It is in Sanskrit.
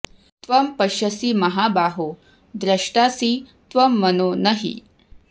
त्वं पश्यसि महाबाहो द्रष्टासि त्वं मनो न हि